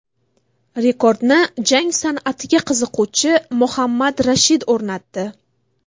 Rekordni jang san’atiga qiziquvchi Mohammad Rashid o‘rnatdi.